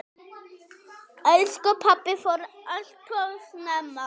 Elsku pabbi fór alltof snemma.